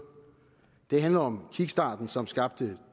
det handler om kickstarten som skabte